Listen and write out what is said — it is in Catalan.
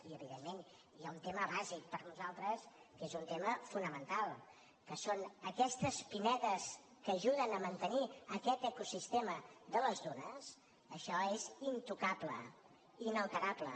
i evidentment hi ha un tema bàsic per nosaltres que és un tema fonamental que és aquestes pinedes que ajuden a mantenir aquest ecosistema de les dunes això és intocable inalterable